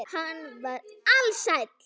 Hann var ALSÆLL.